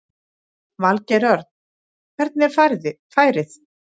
Valgeir Örn: Hvernig er færið?